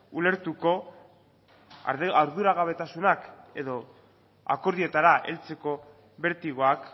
ulertuko arduragabetasunak edo akordioetara heltzeko bertigoak